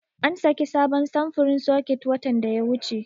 An saki sabon samfurin soket watan da ya wuce.